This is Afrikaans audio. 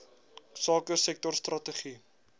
sake sektor strategie